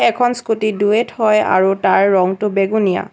এখন স্কুটি দুৱেট হয় আৰু তাৰ ৰংটো বেঙুনীয়া।